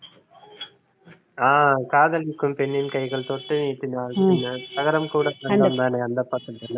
ஆஹ் காதலிக்கும் பெண்ணின் கைகள் தொட்டு நீட்டினால் சின்ன தகரம் கூட தங்கம் தானே அந்த பாட்டு